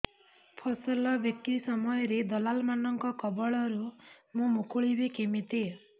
ଫସଲ ବିକ୍ରୀ ସମୟରେ ଦଲାଲ୍ ମାନଙ୍କ କବଳରୁ ମୁଁ ମୁକୁଳିଵି କେମିତି